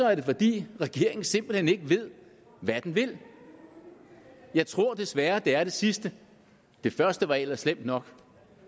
er det fordi regeringen simpelt hen ikke ved hvad den vil jeg tror desværre at det er det sidste det første var ellers slemt nok